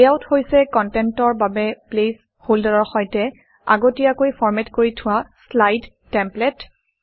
layout হৈছে কনটেণ্টৰ বাবে প্লেচ হল্ডাৰৰ সৈতে আগতীয়াকৈ ফৰমেট কৰি থোৱা শ্লাইড টেমপ্লেট